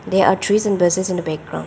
They are trees and grasses in the background.